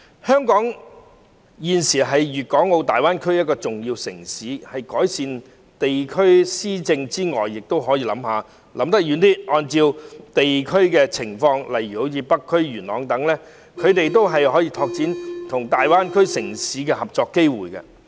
香港現時是粵港澳大灣區內一個重要城市，除改善地區施政外，政府亦可以想得長遠一點，按照地區情況，例如北區或元朗等地區，拓展他們跟大灣區城市合作的機會。